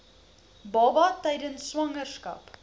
baba tydens swangerskap